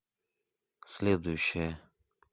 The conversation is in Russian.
следующая